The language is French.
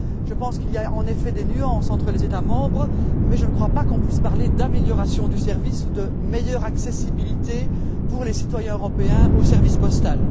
Je pense qu'il y a sans doute des nuances entre les États membres mais je ne crois pas qu'on puisse parler d'amélioration du service ou de meilleure accessibilité pour les citoyens européens du service postal.